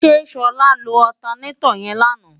ṣe ṣọlá lo ọtanetọ̀ yẹn lánàá?